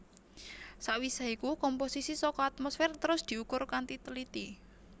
Sawisé iku komposisi saka atmosfer terus diukur kanthi teliti